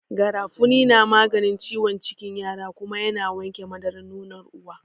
Garafuni na maganin ciwon cikin yara kuma ya na wanke madarar nonon uwa.